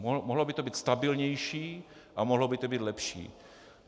Mohlo by to být stabilnější a mohlo by to být lepší.